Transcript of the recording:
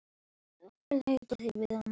Það væsti ekki um þær.